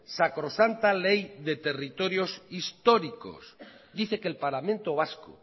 sacrosanta ley de territorios históricos dice que el parlamento vasco